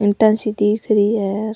ईटा सी दिख रही है।